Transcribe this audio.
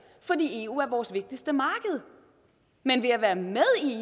fordi eu er vores vigtigste marked men ved at være med